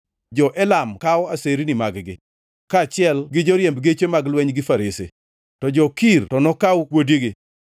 Jo-Elam kawo aserni mag-gi, kaachiel gi joriemb geche mag lweny gi farese; to jo-Kir to nokawo kuodigi.